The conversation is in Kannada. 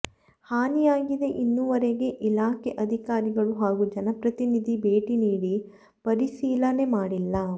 ಹಾನಿಯಾಗಿದೆ ಇನ್ನೂವರೆಗೆ ಇಲಾಖೆ ಅಧಿಕಾರಿಗಳು ಹಾಗೂ ಜನಪ್ರತಿನಿಧಿ ಭೇಟ್ಟಿ ನೀಡಿ ಪರಿಸಿಲ ನೇಮಾಡಿಲ್ಲ